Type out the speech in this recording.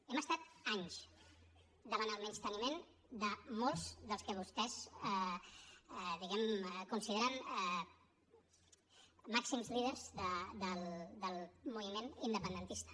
hem estat anys davant el menysteniment de molts dels que vostès diguem ne consideren màxims líders del moviment independentista